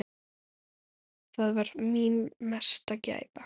Það var mín mesta gæfa.